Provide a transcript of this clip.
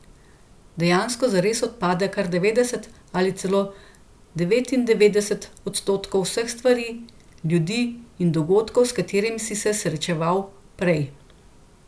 Dejansko zares odpade kar devetdeset ali celo devetindevetdeset odstotkov vseh stvari, ljudi in dogodkov, s katerimi si se srečeval prej.